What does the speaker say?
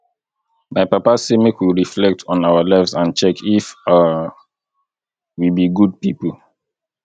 my papa say make we reflect on our lives and check if um we be good people